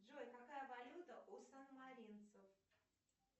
джой какая валюта у санмаринцев